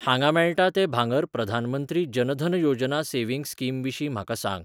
हांगा मेळटा ते भांगर प्रधानमंत्री जन धन योजना सेव्हिंग स्कीम विशीं म्हाका सांग!